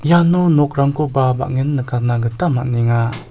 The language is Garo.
nokrangkoba bang·en nikatna gita man·enga.